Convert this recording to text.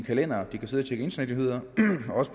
kalender og de kan sidde og tjekke internetnyheder